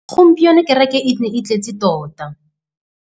Gompieno kêrêkê e ne e tletse tota.